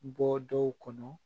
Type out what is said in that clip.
Bɔ dɔw kɔnɔ